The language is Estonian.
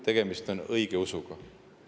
Tegemist on õigeusuga.